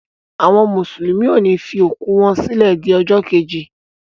Àwọn mùsùlùmí ọ ni fi òkú wọ́n sílẹ di ọjọ́ keji.